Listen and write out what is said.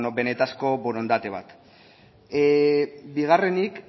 benetako borondate bat bigarrenik